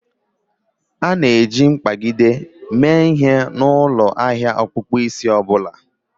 A na-eji mkpagide mee ihe n'ụlọ ahia ọkpụkpụ isi ọ bụla